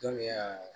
Don min ya